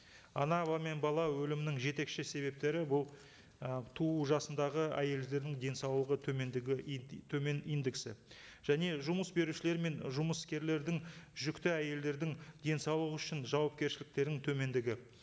ана мен бала өлімінің жетекші себептері бұл і туу жасындағы әйелдердің денсаулығы төмендігі төмен индексі және жұмыс берушілер мен жұмыскерлердің жүкті әйелдердің денсаулығы үшін жауапкершіліктерінің төмендігі